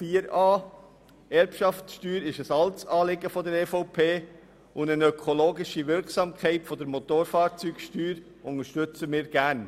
Die Erbschaftssteuer ist ein altes Anliegen der EVP, und die ökologische Wirkung der Motorfahrzeugsteuer unterstützen wir gerne.